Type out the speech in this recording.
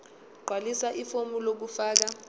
gqwalisa ifomu lokufaka